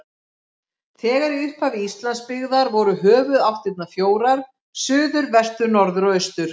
Þegar í upphafi Íslands byggðar voru höfuðáttirnar fjórar: suður, vestur, norður og austur.